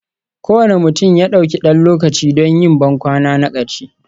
Kowane mutum ya ɗauki ɗan lokaci don yin bankwana na ƙarshe,